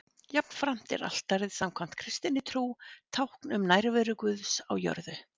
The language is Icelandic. jafnframt er altarið samkvæmt kristinni trú tákn um nærveru guðs á jörðu